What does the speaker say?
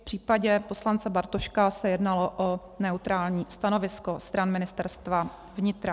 V případě poslance Bartoška se jednalo o neutrální stanovisko stran Ministerstva vnitra.